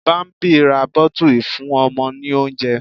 Bámbí ra bottle ìfúnọmọ ní oúnjẹ.